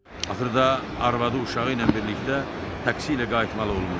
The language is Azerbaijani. Axırda arvadı uşağı ilə birlikdə taksi ilə qayıtmalı olmuşdu.